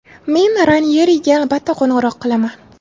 Men Ranyeriga albatta qo‘ng‘iroq qilaman.